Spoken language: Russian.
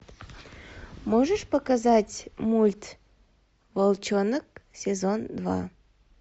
можешь показать мульт волчонок сезон два